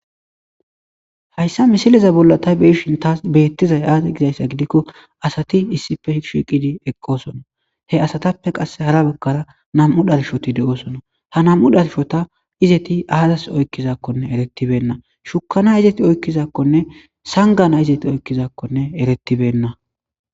Hayssa misileza bolla tay beishin taas beettizay aade gizayssa gidikko asati issife hishiqidi eqqoosona he asatappe qasse hara bagkara nam7u dhalshoti de7osona ha nam7u dhalshota izeti aazas oykkizakkone eretibenna shukana izeti oykkizakkonne sangana izeti oykkizakkone erettibenna.